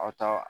Aw ta